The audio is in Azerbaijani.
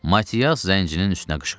Matias zəncirinin üstünə qışqırdı: